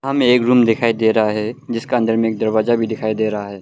हमें एक रूम दिखाई दे रहा है जिसके अंदर में एक दरवाजा भी दिखाई दे रहा है